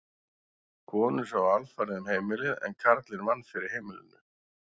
Konur sáu alfarið um heimilið en karlinn vann fyrir heimilinu.